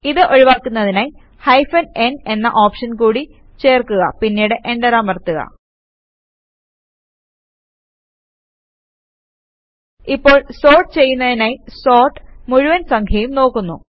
ഇത് ഒഴിവാക്കുന്നതിനായി hyphen n എന്ന ഓപ്ഷൻ കൂട്ടി ചേർക്കുക പിന്നീട് എന്റർ അമർത്തുക ഇപ്പോൾ സോർട്ട് ചെയ്യുന്നതിനായി സോർട്ട് മുഴുവൻ സംഖ്യയും നോക്കുന്നു